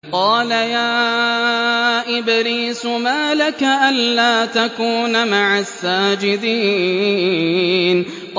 قَالَ يَا إِبْلِيسُ مَا لَكَ أَلَّا تَكُونَ مَعَ السَّاجِدِينَ